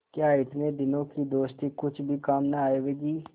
क्या इतने दिनों की दोस्ती कुछ भी काम न आवेगी